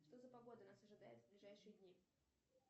что за погода нас ожидает в ближайшие дни